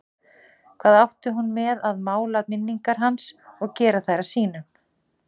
Hvað átti hún með að mála minningar hans og gera þær að sínum?